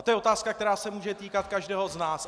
A to je otázka, která se může týkat každého z nás.